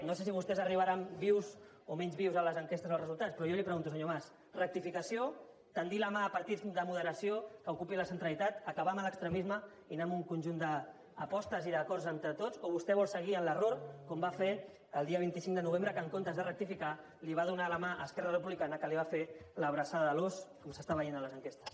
no sé si vostès arribaran vius o menys vius a les enquestes i als resultats però jo li pregunto senyor mas rectificació tendir la mà a partits de moderació que ocupin la centralitat acabar amb l’extremisme i anar amb un conjunt d’apostes i d’acords entre tots o vostè vol seguir amb l’error com va fer el dia vint cinc de novembre que en comptes de rectificar li va donar la mà a esquerra republicana que li va fer l’abraçada de l’ós com s’està veient a les enquestes